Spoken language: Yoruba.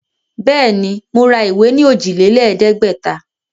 Bẹ́ẹ̀ ni, mo ra ìwé ní òjìlélẹ̀ẹ́dẹ̀gbẹ̀ta.